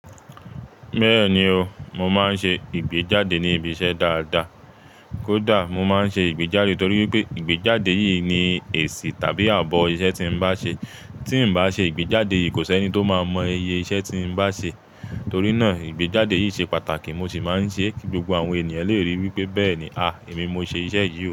Bẹ́ẹ̀ni o, mo máa ń ṣe ìgbéjáde ní ibi iṣẹ́ dáadáa. Kódà mo máa ń ṣe ìgbéjáde torí wipé ìgbéjáde yìí ni èsì tàbí ààbò iṣẹ́ tí n bá ṣe. Tí n bá ṣe ìgbéjáde yìí kò sẹ́ni tó máa mọ iye iṣẹ́ tí n bá ṣe. Torí náà ìgbéjáde yìí ṣe pàtàkì, mo sì máa ń ṣe kí gbogbo àwọn ènìyàn lè ríi wípé bẹ́ẹ̀ni, à, èmi mo ṣe iṣẹ́ yìí o.